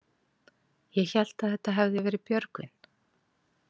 Ég hélt að þetta hefði verið Björgvin.